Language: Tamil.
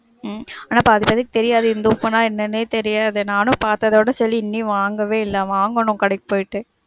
உம் எனக்கு அத பத்தி தெரியாது, இந்துப்புனா என்னனே தெரியாது. நானும் பாத்ததோட சரி, இன்னும் வாங்கவே இல்ல. வாங்கணும் கடைக்கு போயிட்டு.